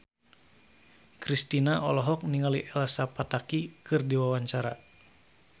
Kristina olohok ningali Elsa Pataky keur diwawancara